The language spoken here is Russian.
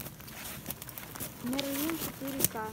мерлин четыре ка